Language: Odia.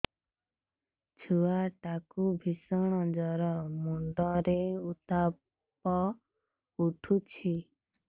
ଛୁଆ ଟା କୁ ଭିଷଣ ଜର ମୁଣ୍ଡ ରେ ଉତ୍ତାପ ଉଠୁଛି